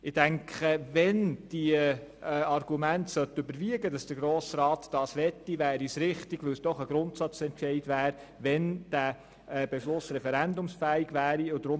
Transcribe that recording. Sollten im Grossen Rat die Argumente für einen Verkauf überwiegen, dann wäre es meines Erachtens richtig, wenn dieser Beschluss referendumsfähig wäre, denn dies wäre ein Grundsatzentscheid.